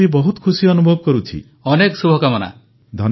ପନ୍ ମରିୟପ୍ପନ୍ ପ୍ରଧାନମନ୍ତ୍ରୀଙ୍କ ସହିତ କଥା ହେଇ ମୁଁ ବି ବହୁତ ଖୁସି ଅନୁଭବ କରୁଛି